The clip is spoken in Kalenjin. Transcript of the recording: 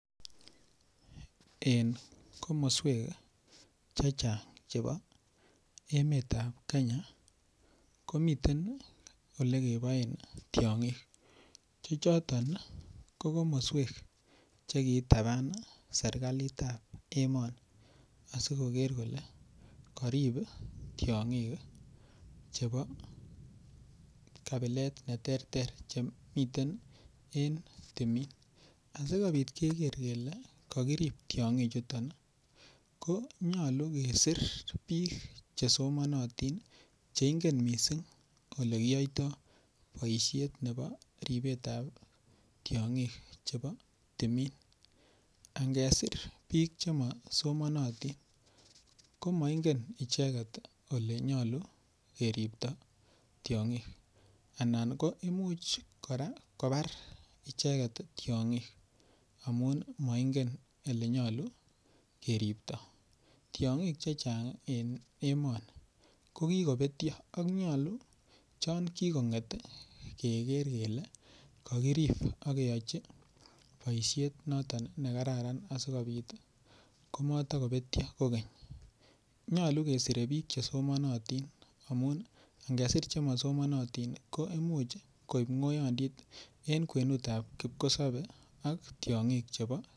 En komoswek chechang chebo emetab Kenya komiten olekeboen tiong'ik chechoto ko komoswek chektabaan serikalitab emoni asikoker kole karip tiong'ik chebo kabilet cheterter chemiten en timin asikobit keker kele kokirip tiong'ichuton ii ko nyolu kesir biik chesomanotin cheingen missing olekiyoito boisiet ne bo ripetab tiong'ik chebo timin angesir biik chemosomanotin komoingen icheket ole nyolu keripto tiong'ik anan ko imuch kora kobar icheket tiong'ik amun moingen ele nyolu keripto, tiong'uk chechang en emoni ko kikobetyo ak nyolu chongikong'et ii keker kele kokirip akeyochi boisiet noton nekararan asikobit komoto kobetyo kogeny nyolu kesire biik chesomonotin amun angesir chemosomonotin ko imuch koib ng'oyondit en kwenutab kipkosobe ak tiong'ik chebo .